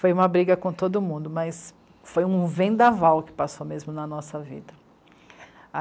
Foi uma briga com todo mundo, mas foi um vendaval que passou mesmo na nossa vida.